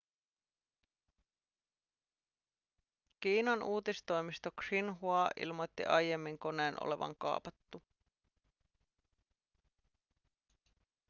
kiinan uutistoimisto xinhua ilmoitti aiemmin koneen olevan kaapattu